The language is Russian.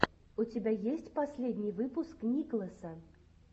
у тебя есть последний выпуск никлэсса